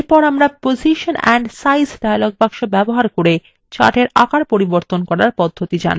এরপর আমরা position and size dialog box ব্যবহার করে chartsএর আকার পরিবর্তন করার পদ্ধতি জানবো